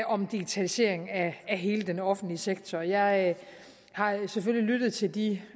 om digitalisering af hele den offentlige sektor jeg har selvfølgelig lyttet til de